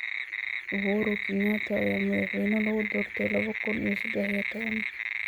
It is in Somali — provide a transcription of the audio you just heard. Uhuru Kenyatta ayaa madaxweyne lagu doortay laba kun iyo saddex iyo toban.